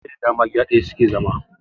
Iyalai da dama gida daya suke zama